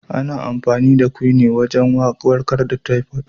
Ana amfani da "Quinine" wagen warkar da " typhoid ".